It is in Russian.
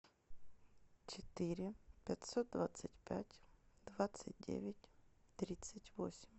четыре пятьсот двадцать пять двадцать девять тридцать восемь